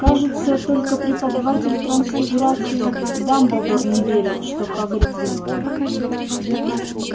кажется только преподаватель трансфигурации дамблдор не верил что хагрид виновен